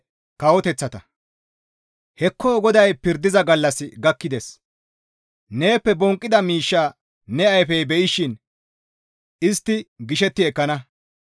Hekko GODAY pirdiza gallassi gakkides; neeppe bonqqida miishsha ne ayfey be7ishin istti gishetti ekkana.